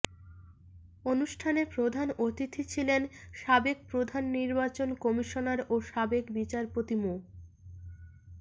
অনুষ্ঠানে প্রধান অতিথি ছিলেন সাবেক প্রধান নির্বাচন কমিশনার ও সাবেক বিচারপতি মো